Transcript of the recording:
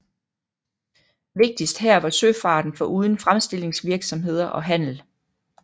Vigtigst her var søfarten foruden fremstillingsvirksomheder og handel